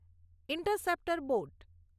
interceptor boat